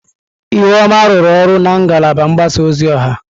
Ihuoma rụrụ ọrụ na ngalaba mgbasa ozi ọha.